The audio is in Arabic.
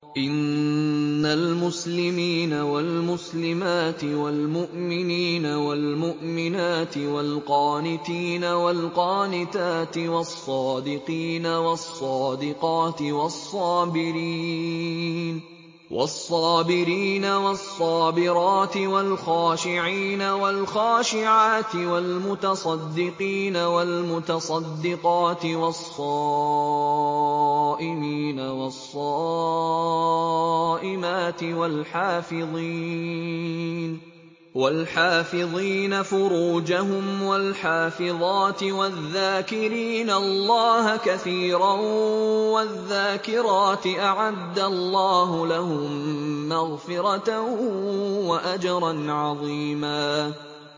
إِنَّ الْمُسْلِمِينَ وَالْمُسْلِمَاتِ وَالْمُؤْمِنِينَ وَالْمُؤْمِنَاتِ وَالْقَانِتِينَ وَالْقَانِتَاتِ وَالصَّادِقِينَ وَالصَّادِقَاتِ وَالصَّابِرِينَ وَالصَّابِرَاتِ وَالْخَاشِعِينَ وَالْخَاشِعَاتِ وَالْمُتَصَدِّقِينَ وَالْمُتَصَدِّقَاتِ وَالصَّائِمِينَ وَالصَّائِمَاتِ وَالْحَافِظِينَ فُرُوجَهُمْ وَالْحَافِظَاتِ وَالذَّاكِرِينَ اللَّهَ كَثِيرًا وَالذَّاكِرَاتِ أَعَدَّ اللَّهُ لَهُم مَّغْفِرَةً وَأَجْرًا عَظِيمًا